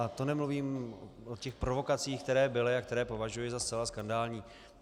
A to nemluvím o těch provokacích, které byly a které považuji za zcela skandální.